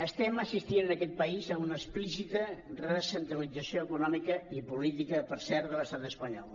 estem assistint en aquest país a una explícita recentralització econòmica i política per cert de l’estat espanyol